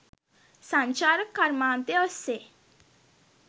සංචාරක කර්මාන්තය ඔස්සේ